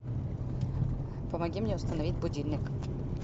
помоги мне установить будильник